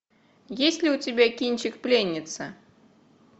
есть ли у тебя кинчик пленница